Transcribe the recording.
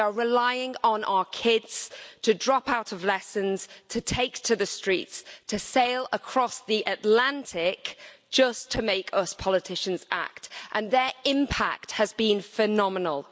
We are relying on our kids to drop out of lessons, to take to the streets, to sail across the Atlantic just to make us politicians act, and their impact has been phenomenal.